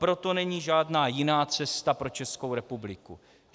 Proto není žádná jiná cesta pro Českou republiku.